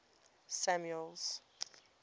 samuel's